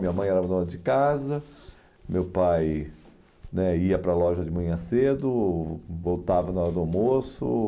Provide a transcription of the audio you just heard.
Minha mãe era dona de casa, meu pai né ia para a loja de manhã cedo, voltava na hora do almoço.